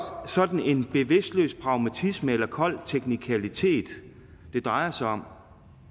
sådan en bevidstløs pragmatisme eller kold teknikalitet det drejer sig om